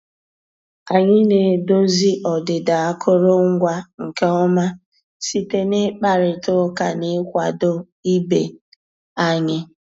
Ànyị́ ná-èdòzí ọ́dị́dà àkụ́rụngwa nkè ọ́má síté ná ị́kpàrị́tá ụ́ká ná ị́kwàdó ìbé ànyị́.